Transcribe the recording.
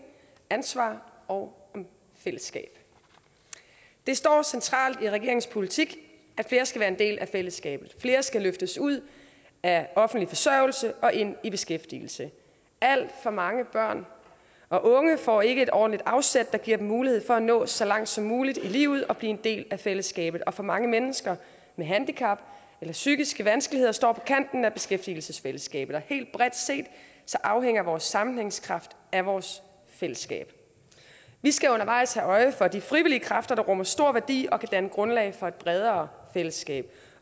ansvar og fællesskab det står centralt i regeringens politik at flere skal være en del af fællesskabet flere skal løftes ud af offentlig forsørgelse og ind i beskæftigelse alt for mange børn og unge får ikke et ordentligt afsæt der giver dem mulighed for at nå så langt som muligt i livet og blive en del af fællesskabet og for mange mennesker med handicap eller psykiske vanskeligheder står på kanten af beskæftigelsesfællesskabet helt bredt set afhænger vores sammenhængskraft af vores fællesskab vi skal undervejs have øje for de frivillige kræfter der rummer stor værdi og kan danne grundlag for et bredere fællesskab